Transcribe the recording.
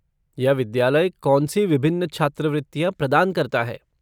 यह विद्यालय कौन सी विभिन्न छात्रवृत्तियाँ प्रदान करता है?